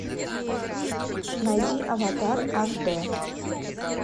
найди аватар аш дэ